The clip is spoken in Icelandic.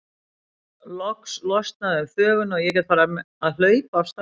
Loks losnaði um þvöguna og ég gat farið að hlaupa af stað.